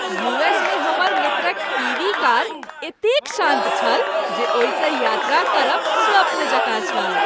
U S मे हमर मित्रक ई. वी. कार एतेक शान्त छल जे ओहिसँ यात्रा करब स्वप्न जकाँ छल।